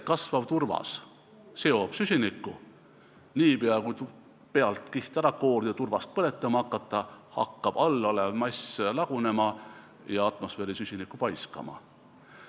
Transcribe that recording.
Kasvav turvas seob süsinikku, aga niipea, kui pealmine kiht ära koorida ja turvast põletama hakata, hakkab all olev mass lagunema ja atmosfääri süsinikku paiskama.